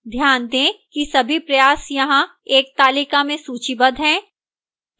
ध्यान दें कि सभी प्रयास यहां एक तालिका में सूचीबद्ध हैं